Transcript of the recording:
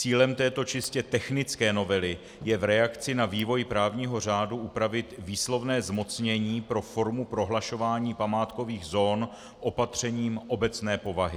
Cílem této čistě technické novely je v reakci na vývoj právního řádu upravit výslovné zmocnění pro formu prohlašování památkových zón opatřením obecné povahy.